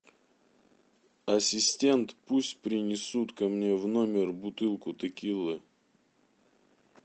ассистент пусть принесут ко мне в номер бутылку текилы